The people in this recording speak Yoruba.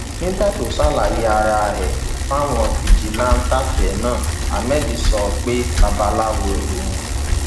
nígbà tó ń ṣàlàyé ara ẹ fáwọn fijilantànté náà ahmed sọ pé babaláwo lòun